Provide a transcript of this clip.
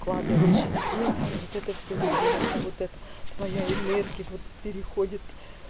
складываешь и текст и вот это все льётся вот это твоя энергия вот переходит